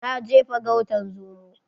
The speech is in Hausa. Na je farautan zomo